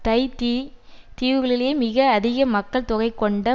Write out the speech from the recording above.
Tahiti தீவுகளிலேயே மிக அதிக மக்கள் தொகையை கொண்ட